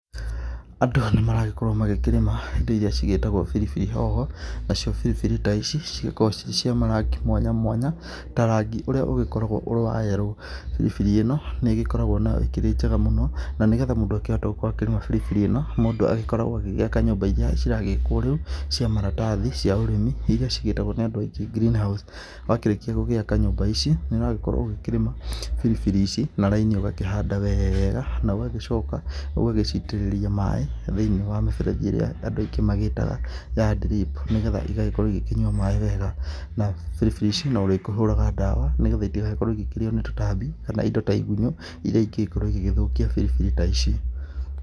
Andũ nĩmaragĩkorwo magĩkĩrĩma indo ĩrĩa cigĩtagwo biribiri hoho naciĩ biribiri ta ici cigĩkoragwo ci cia marangĩ mwanya mwanya ta rangi ũrĩa ũgĩkoragwo ũrĩ wa yellow biribiri ĩno nĩ ĩgĩkoragwo nayo ĩkĩrĩ njega mũno na nĩgetha mũndũ agĩkorwo akĩhota kũrĩma biribiri ĩno mũndũ agĩkoragwo agĩaka nyũmba ira ciragĩakwo rĩu cia maratathi cia ũrĩmi ĩrĩa cĩatagwo nĩ andũ aĩngĩ greenhouse wakĩrĩkia gũgĩaka nyũmba ici , nĩ ũragĩkorwo ũkĩrĩma biribiri ici na raini ũgakĩhanda weega na ũgagĩcoka ũgaciĩtĩrĩria maĩ thĩinĩ wa mĩberethi ĩrĩa andũ angĩ mamĩgĩtaga ya drip nĩgetha ĩgagĩkorwo ĩgĩkĩnyũa maĩ wega na biribiri ici no ũrĩgĩkoragwo ũgĩkĩhũra ndawa nĩgetha ĩtĩgagĩkorwo ĩkĩrĩo nĩ tũtambi kana indo ta igũnyũ irĩa ĩngĩgĩkorwo ĩgĩthũkia biribiri ta ici.